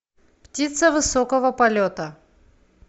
птица высокого полета